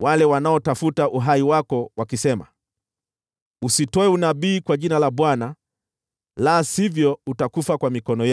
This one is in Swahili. wale wanaotafuta uhai wako wakisema, ‘Usitoe unabii kwa jina la Bwana , la sivyo utakufa kwa mikono yetu’: